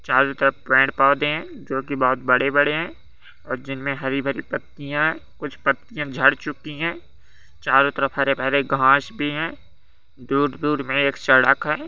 चारों तरफ पेड़-पौधे हैं जो कि बहुत बड़े-बड़े हैं और जिन में हरी-भरी पत्तियां है कुछ पत्तियां झड़ चुकी हैं चारों तरफ हरे-भरे घास भी हैं दूर-दूर में एक सड़क है।